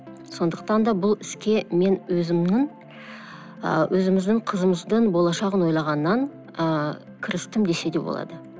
сондықтан да бұл іске мен өзімнің ыыы өзіміздің қызымыздың болашағын ойлағаннан ыыы кірістім десе де болады